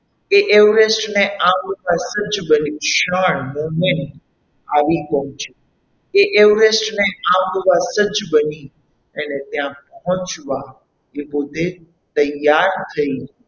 તે Everest ને આમ ક્ષણ moment આવી પહોંચી તે everest ને આમ જ પહોંચી એણે ત્યાં પહોંચવા તે પોતે તૈયાર થઈ.